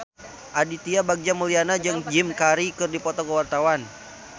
Aditya Bagja Mulyana jeung Jim Carey keur dipoto ku wartawan